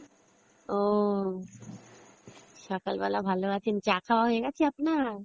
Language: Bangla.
ও, সকাল বেলা ভালো আছেন, চা খাওয়া হয়ে গেছে আপনার?